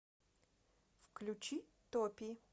включи топи